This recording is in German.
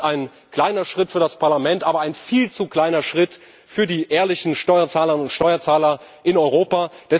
Das hier ist ein kleiner Schritt für das Parlament, aber ein viel zu kleiner Schritt für die ehrlichen Steuerzahlerinnen und Steuerzahler in Europa.